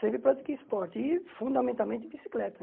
Sempre pratiquei esporte e, fundamentalmente, bicicleta.